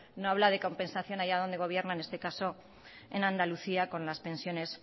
no habla de compensación allá donde gobierna en este caso en andalucía con las pensiones